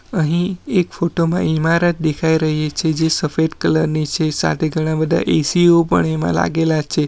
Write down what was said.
અહીં એક ફોટો માં ઈમારત દેખાઈ રહી છે જે સફેદ કલર ની છે સાથે ઘણા બધા એ_સી ઓ પણ એમાં લાગેલા છે.